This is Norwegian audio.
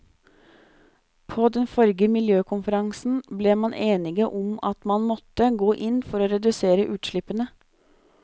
På den forrige miljøkonferansen ble man enige om at man måtte gå inn for å redusere utslippene.